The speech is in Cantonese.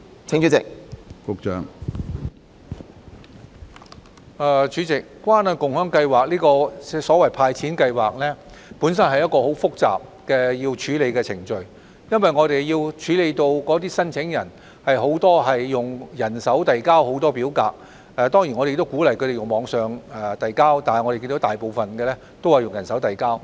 主席，關愛共享計劃這項所謂"派錢"計劃，本身是一項很複雜的處理程序，因為我們要處理的申請人有很多是用人手遞交表格，當然我們亦鼓勵他們在網上遞交，但我們看到大部分是用人手遞交。